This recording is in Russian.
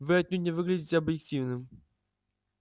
вы отнюдь не выглядите объективным